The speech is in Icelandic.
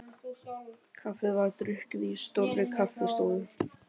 Kaffið var drukkið í stórri kaffi- stofu.